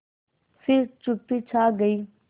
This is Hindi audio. फिर चुप्पी छा गई